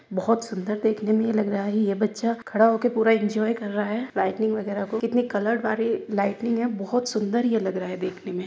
बोहोत सुंदर देखने मे ये लग रहा है ये बच्चा खड़ा होकर पूरा इंजॉय कर रहा है लाइटिंग वैगरहा को कितनी कलर्ड वारी लाइटिंग है। बोहोत सुंदर ये लग रहा है ये देखने में।